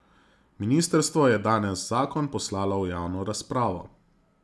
Ministrstvo je danes zakon poslalo v javno razpravo.